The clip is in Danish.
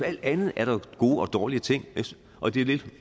alt andet er der gode og dårlige ting og det er lidt